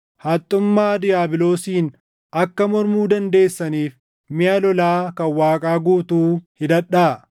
Haxxummaa diiyaabiloosiin akka mormuu dandeessaniif miʼa lolaa kan Waaqaa guutuu hidhadhaa.